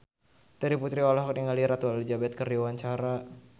Terry Putri olohok ningali Ratu Elizabeth keur diwawancara